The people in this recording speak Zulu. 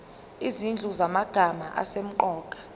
izinhlu zamagama asemqoka